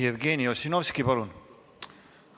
Jevgeni Ossinovski, palun!